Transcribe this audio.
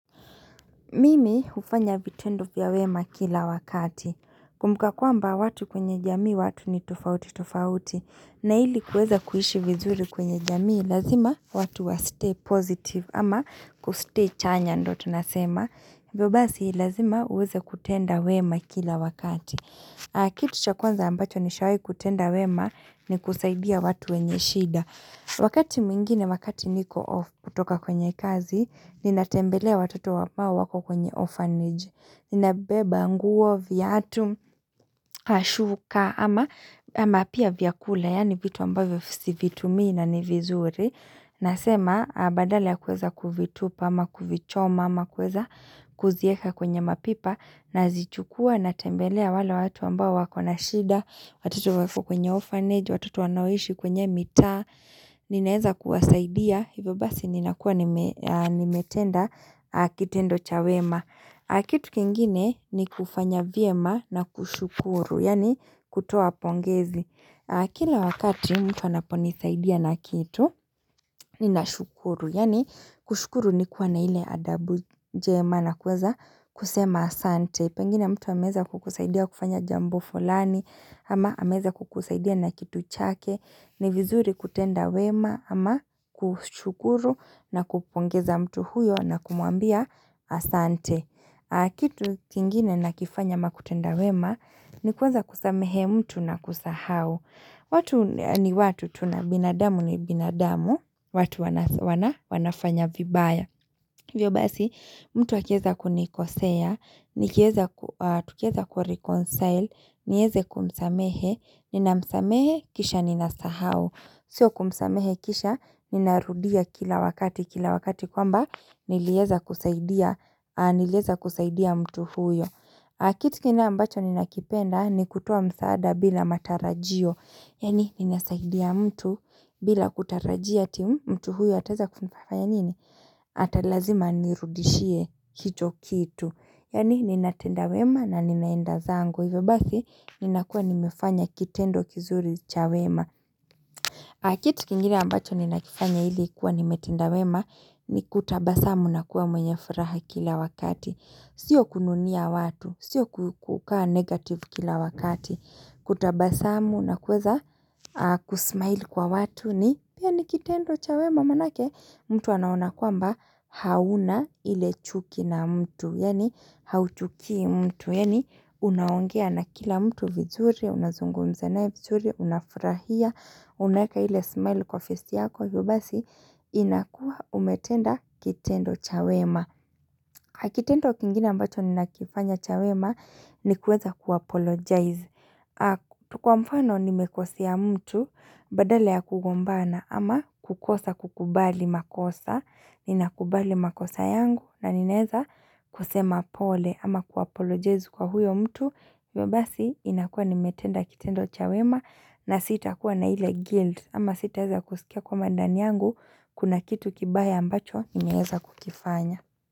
Mimi hufanya vitendo vya wema kila wakati. Kumbuka kwamba watu kwenye jamii watu ni tofauti tofauti. Na ili kuweza kuishi vizuri kwenye jamii lazima watu wa stay positive ama kustay chanya ndio tunasema. Hivyo basi lazima uweze kutenda wema kila wakati. Kitu cha kwanza ambacho nishawahi kutenda wema ni kusaidia watu wenye shida. Wakati mwingine, wakati niko off kutoka kwenye kazi, ninatembelea watoto ambao wako kwenye orphanage. Ninabeba, nguo, viatu, shuka, ama pia vyakula, yaani vitu ambavyo sivitumii na ni vizuri. Nasema, badala ya kuweza kuvitupa, ama kuvichoma, ama kuweza kuzieka kwenye mapipa. Nazichukua na tembelea wale watu ambao wako na shida watoto wako kwenye orphanage, watoto wanaoishi kwenye mitaa ninaweza kuwasaidia, hivyo basi ninakuwa nimetenda kitendo cha wema kitu kingine ni kufanya vyema na kushukuru, yaani kutoa pongezi kila wakati mtu anaponisaidia na kitu, ninashukuru Yaani kushukuru ni kuwa na ile adabu njema na kuweza kusema asante. Pengine mtu ameweza kukusaidia kufanya jambo fulani ama ameweza kukusaidia na kitu chake. Ni vizuri kutenda wema ama kushukuru na kupongeza mtu huyo na kumuambia asante. Kitu kingine nakifanya ama kutenda wema ni kuweza kusamehe mtu na kusahau. Watu ni watu tu na binadamu ni binadamu, watu wanafanya vibaya. Hivyo basi, mtu akiweza kunikosea, nikiweza tukiweza kureconcile, niweze kumsamehe, ninamsamehe kisha ninasahau. Sio kumsamehe kisha, ninarudia kila wakati, kila wakati kwamba niliweza kusaidia mtu huyo. Kitu kingine ambacho ninakipenda ni kutoa msaada bila matarajio Yaani ninasaidia mtu bila kutarajia ati mtu huyo ataweza kufanya nini? Atalazima anirudishie hicho kitu Yaani ninatenda wema na ninaenda zangu hivyo basi ninakuwa nimefanya kitendo kizuri cha wema kitu kingine ambacho ninakifanya ili kuwa nimetenda wema Nikutabasamu nakuwa mwenye furaha kila wakati Sio kununia watu, sio kukukaa negative kila wakati Kutabasamu na kuweza kusmile kwa watu ni pia ni kitendo cha wema maanake mtu anaona kwamba hauna ile chuki na mtu Yaani hauchukii mtu Yaani unaongea na kila mtu vizuri, unazungumza naye vizuri, unafurahia unaweka ile smile kwa face yako hivyo basi inakuwa umetenda kitendo cha wema kitendo kingine ambacho ninakifanya cha wema ni kuweza kuapologize. Kwa mfano nimekosea mtu badala ya kugombana ama kukosa kukubali makosa. Ninakubali makosa yangu na ninaweza kusema pole ama kuapologize kwa huyo mtu. Hivyo basi inakuwa nimetenda kitendo cha wema na sitakuwa na ile guilt ama sitaeza kusikia kwamba ndani yangu kuna kitu kibaya ambacho nimeweza kukifanya.